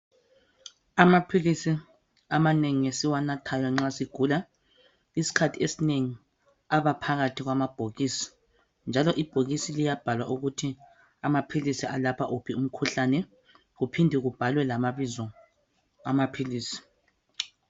Amaphilisi amanengi esiwanathayo nxa sigula eskhathi esinengi aba phakathi kwamabhokisi njalo ibhokisi liyabhalwa ukuthi amaphilisi alapha uphi umkhuhlane kuphinde lamabizo amaphilisi